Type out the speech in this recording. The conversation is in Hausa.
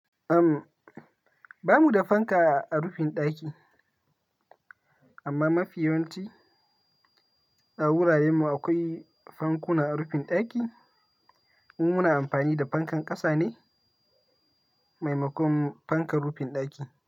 Am, ba mu da fanka a rufin ɗaki amma mafi yawanci a wuraren mu akwai fankuna a rufin ɗaki. Mu muna amfani da fankan ƙasa ne maimakon fankan rufin ɗaki.